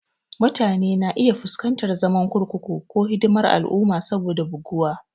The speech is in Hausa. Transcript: Mutane na iya fuskantar zaman kurkuku ko hidimar al'umma saboda buguwa.